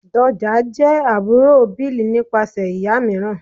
Doja jẹ́ àbúrò Bill nípasẹ̀ ìyá mìíràn.